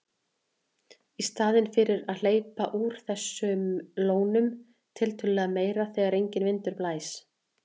Í staðinn þyrfti að hleypa úr þessum lónum tiltölulega meira þegar enginn vindur blæs.